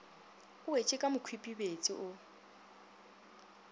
o wetše ka mokhwipebetse o